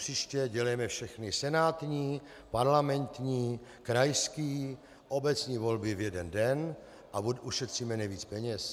Odpříště dělejme všechny senátní, parlamentní, krajské, obecní volby v jeden den a ušetříme nejvíc peněz.